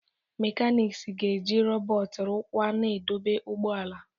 Mechanics ga-eji rọbọt rụkwaa na idobe ụgbọ ala.